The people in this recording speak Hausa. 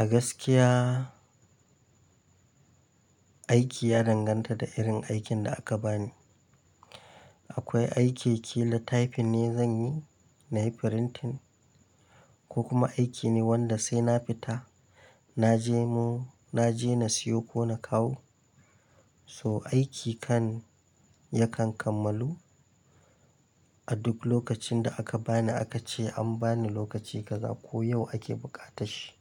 A gaskiya aiki ya danganta da irin aikin da aka bani. Akwai aiki ƙila typing ne zan yi, na yi printing ko kuma aiki ne wanda sai na fita na je na siyo ko na kawo. So aiki kan yakan kammalu a duk lokacin da aka bani, aka ce an bani lokaci kaza ko yau ake buƙatar shi.